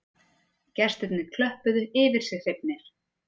Gestirnir klöppuðu yfir sig hrifnir